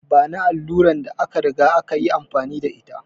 Bani allurar da aka riga aka yi amfani da ita!